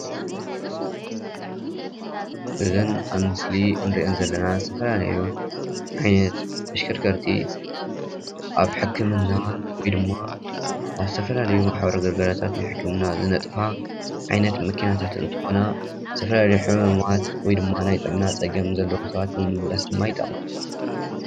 እዘን አብ ምስሊ እንሪአን ዘለና ዝተፈላለዩ ዓይነት ተሽከርከርቲ አብ ሕክምና ወይ ድማ አብ ዝተፈላለዩ ማሕበራዊ ግልጋሎታት ናይ ሕክምና ዝነጥፋ ዓይነት መኪናታት እንተኮና፤ ዝተፈላለዩ ሕሙማት ወይ ድማ ናይ ጥዕና ፀገም ዘለዎም ሰባት ንምምልላስ ድማ ይጠቅማ፡፡